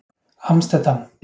Amsterdam